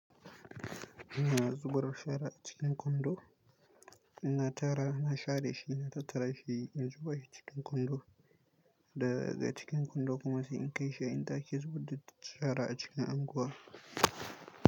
Ina zubawa shara a cikin kwando, ina tara, na share shi, na tattara shi in zuba shi cikin kwando. Daga cikin kwando kuma sai in kai shi in tace zuɓuɗa ta shara a cikin unguwar.